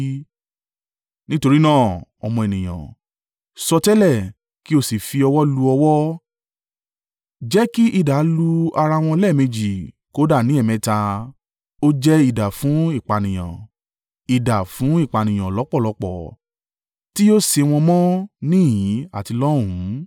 “Nítorí náà, ọmọ ènìyàn, sọtẹ́lẹ̀ kí ó sì fi ọwọ́ lu ọwọ́. Jẹ́ kí idà lu ara wọn lẹ́ẹ̀méjì, kódà ní ẹ̀ẹ̀mẹta. Ó jẹ́ idà fún ìpànìyàn idà fún ìpànìyàn lọ́pọ̀lọ́pọ̀, tí yóò sé wọn mọ́ níhìn-ín àti lọ́hùnnún.